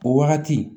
O wagati